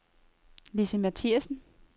Lissi Martinsen